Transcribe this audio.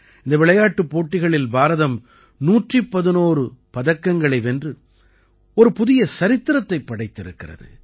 இந்த விளையாட்டுப் போட்டிகளில் பாரதம் 111 பதக்கங்களை வென்று ஒரு புதிய சரித்திரத்தைப் படைத்திருக்கிறது